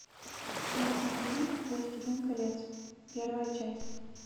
найти фильм властелин колец первая часть